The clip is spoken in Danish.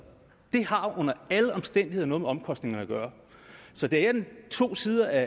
det har jo under alle omstændigheder noget med omkostningerne at gøre så der er to sider af